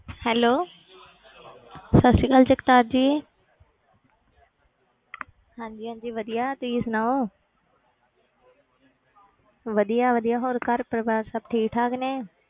Hello ਸਤਿ ਸ੍ਰੀ ਅਕਾਲ ਜਗਤਾਰ ਜੀ ਹਾਂਜੀ ਹਾਂਜੀ ਵਧੀਆ ਤੁਸੀਂ ਸੁਣਾਓ ਵਧੀਆ ਵਧੀਆ ਹੋਰ ਘਰ ਪਰਿਵਾਰ ਸਭ ਠੀਕ ਠਾਕ ਨੇ,